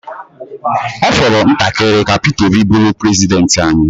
Ọ fọrọ ntakịrị ka Peter Obi bụrụ prezidenti anyị.